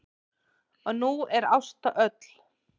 Og nú er Ásta öll.